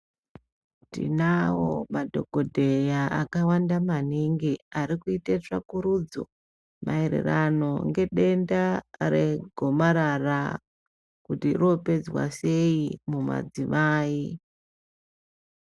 Tinawo madhokodheya akawanda maningi arikuita tsvakurudzo maererano Ngedenda regomarara kuti ropedzwa sei mumadzimai.